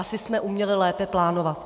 Asi jsme uměli lépe plánovat.